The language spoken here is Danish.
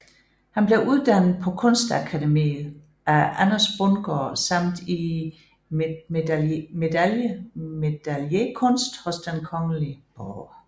Han blev uddannet på Kunstakademiet af Anders Bundgaard samt i medaillekunst hos Den Kgl